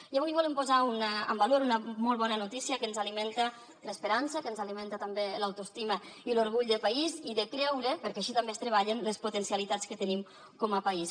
i avui volem posar en valor una molt bona notícia que ens alimenta l’esperança que ens alimenta també l’autoestima i l’orgull de país i de creure perquè així també es treballen les potencialitats que tenim com a país